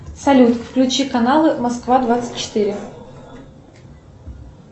салют включи каналы москва двадцать четыре